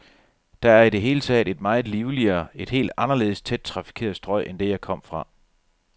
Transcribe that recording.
Det er i det hele taget et meget livligere, et helt anderledes tæt trafikeret strøg end det, jeg kom fra.